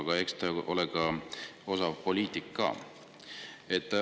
Aga eks te ole osav poliitik.